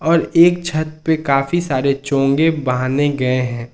और एक छत पर काफी सारे चोंगे बांधे गए हैं।